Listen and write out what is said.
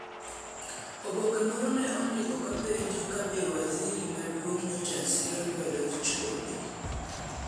Oboke moro ne ondiko kapenjo kabe waziri maduong nyocha siro lwedo chode.